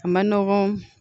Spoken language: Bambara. A man nɔgɔn